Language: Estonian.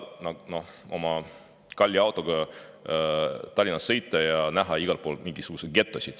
Sa ei taha oma kalli autoga Tallinnasse sõita ja näha igal pool mingisuguseid getosid.